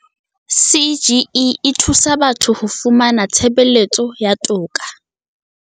CGE e thusa batho ho fumana tshebeletso ya toka